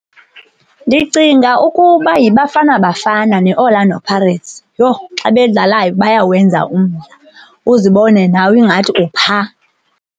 Ndicinga ukuba yiBafana Bafana ne-Orlando Pirates. Yho, xa bedlalayo bayawenza umdla, uzibone nawe ingathi uphaa.